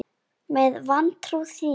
Með vantrú þína.